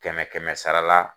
Kɛmɛ kɛmɛ sarala